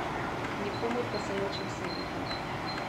Nikomur pa se nočem smiliti.